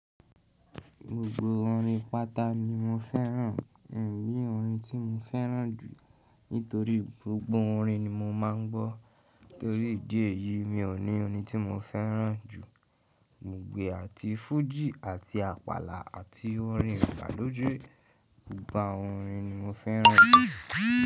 Gbogbo orin pata ni mo fẹ́ràn. Mi ò ní orin tí mo fẹ́ràn jù nítorí gbogbo orin ni mo máa ń gbọ́. Nítorí ìdí èyí, mi ò ní orin tí mo fẹ́ràn jù. Gbògbo è àti fújì àti àpàlà àti orin ìgbàlódé, gbogbo àwọn orin ni mo fẹ́ràn.